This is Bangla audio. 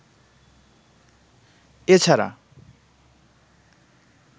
এ ছাড়া